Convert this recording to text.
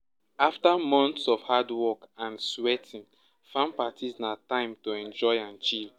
after months of hardwork and sweating farm parties na time to enjoy and chill